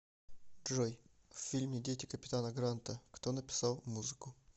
джой в фильме дети капитана гранта кто написал музыку